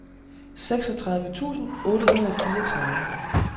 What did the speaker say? seksogtredive tusind otte hundrede og fireogtredive